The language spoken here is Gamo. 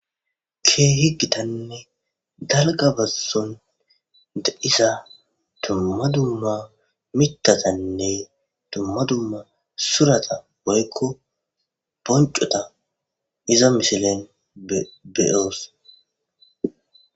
Ke higgitanne dalga basson de isa tumma dumma mitatanne tumma dumma surata woykko boncota iza misilen beoos.